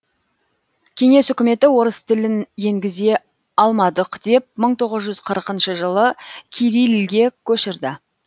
кеңес үкіметі орыс тілін енгізе алмадық деп мың тоғыз жүз қырқыншы жылы кирилльге көшірді